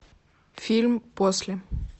фильм после